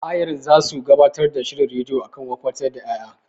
Ayarin zasu gabatar da shirin rediyo akan wofantar da ƴaƴa.